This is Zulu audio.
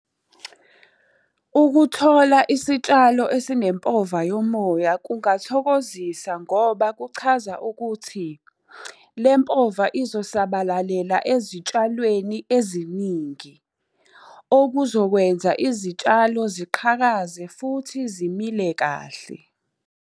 Ukuthola isitshalo esinempova yomoya kungathokozisa ngoba kuchaza ukuthi, le mpova izosabalalela ezitshalweni eziningi. Okuzokwenza izitshalo ziqhakaze futhi zimile kahle.